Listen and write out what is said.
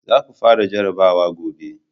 za ku fara jarabawa gobe!